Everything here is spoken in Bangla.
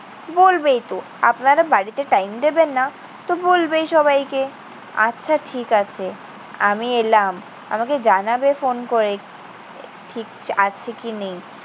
বলবেই তো। আপনারা বাড়িতে time দেবেন না। তো বলবেই সবাইকে। আচ্ছা, ঠিক আছে। আমি এলাম। আমাকে জানাবে ফোন করে ঠিক আছে কি নেই?